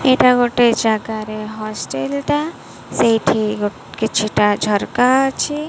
ଏଇଟା ଗୋଟେ ଜାଗାରେ ହଷ୍ଟେଲ ଟା ସେଇଠି କିଛିଟା ଝରକା ଅଛି।